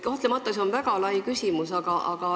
Kahtlemata on see väga lai küsimus.